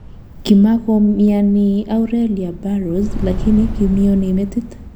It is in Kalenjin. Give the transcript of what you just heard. Kimakomyani Aurelia Burrowers lakini kimyoni metit